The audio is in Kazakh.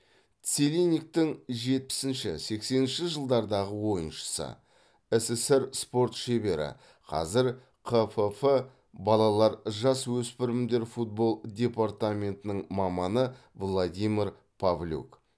целинниктің жетпісінші сексенінші жылдардағы ойыншысы ссср спорт шебері қазір қфф балалар жасөспірімдер футбол департаментінің маманы владимир павлюк